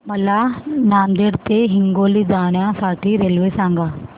मला नांदेड ते हिंगोली जाण्या साठी रेल्वे सांगा